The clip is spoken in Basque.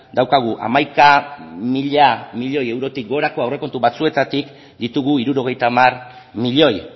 daukagu hamaika mila milioi eurotik gorako aurrekontu batzuetatik ditugu hirurogeita hamar milioi